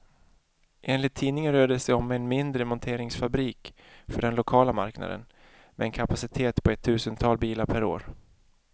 Enligt tidningen rör det sig om en mindre monteringsfabrik för den lokala marknaden, med en kapacitet på ett tusental bilar per år.